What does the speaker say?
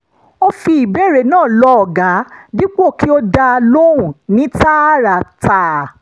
ó fi ìbéèrè náà lọ ọ̀gá dípò kó dá a lóhùn ní tààràtà